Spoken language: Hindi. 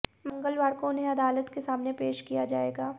मंगलवार को उन्हें अदालत के सामने पेश किया जाएगा